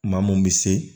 Maa mun bɛ se